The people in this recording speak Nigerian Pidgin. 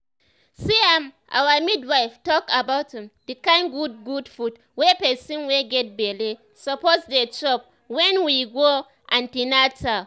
see[um]our midwife talk about um the kind good good food wey person wey get belle suppose dey chop wen we go an ten atal